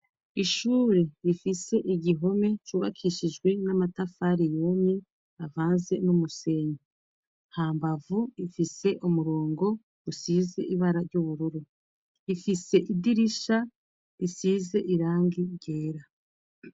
Ishure rifise igihome cubakishijwe n'amatafariyumye avanze n'umusenye ha mbavu ifise umurongo usize ibara ry'ubururu rifise idirisha risize irangi ryera.